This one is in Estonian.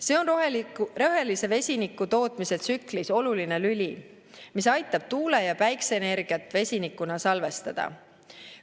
See on rohelise vesiniku tootmise tsüklis oluline lüli, mis aitab tuule- ja päikeseenergiat vesinikuna salvestada.